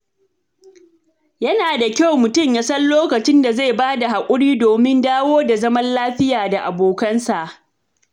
Yana da kyau mutum ya san lokacin da zai ba da haƙuri domin ya dawo da zaman lafiya da abokansa.